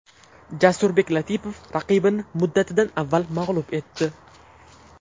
Jasurbek Latipov raqibini muddatidan avval mag‘lub etdi.